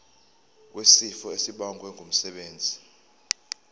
wesifo esibagwe ngumsebenzi